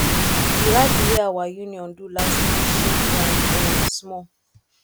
the rally wey our union do last week shake ground um small